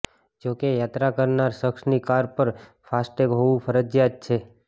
જો કે યાત્રા કરનાર શખ્સની કાર પર ફાસ્ટટેગ હોવું ફરજિયાત છે